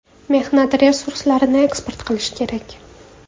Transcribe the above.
Mehnat resurslarini eksport qilish kerak.